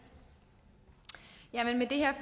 her